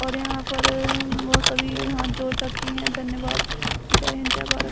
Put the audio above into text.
और यहाँ पर वो सभी हाथ जोड़े रखी है धन्यवाद जय हिन्द जय भारत।